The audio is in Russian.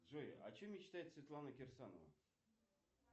джой о чем мечтает светлана кирсанова